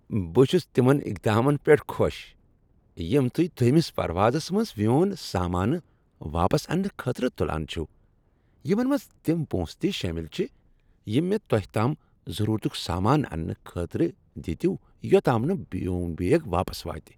بہٕ چُھس تِمن اقدامن پیٹھ خۄش یم تہۍ دوٚیمس پروازس منٛز میون سامانہٕ واپس انٛنہٕ خٲطرٕ تلان چھوٕ، یمن منٛز تم پۄنٛسہٕ تہ شٲمل چھ یم مےٚ تۄہہ توٚتام ضروٗرتک سامانہٕ انٛنہٕ خٲطرٕ دتۍوٕ یوٚتام نہٕ میٚون بیگ واپس واتہ۔